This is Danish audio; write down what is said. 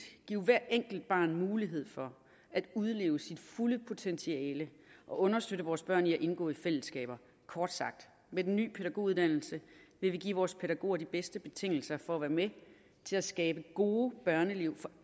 give hvert enkelt barn mulighed for at udleve sit fulde potentiale og understøtte vores børn i at indgå i fællesskaber kort sagt med den nye pædagoguddannelse vil vi give vores pædagoger de bedste betingelser for at være med til at skabe gode børneliv for